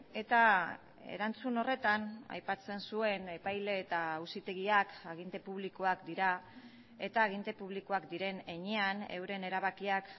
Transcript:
eta erantzun horretan aipatzen zuen epaile eta auzitegiak aginte publikoak dira eta aginte publikoak diren heinean euren erabakiak